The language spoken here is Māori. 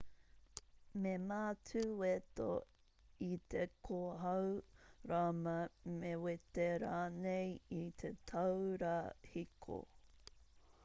me mātu weto i te kōhao rama me wete rānei i te taura hiko